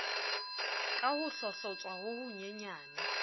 ka ho hlohlotswa ho honyenyane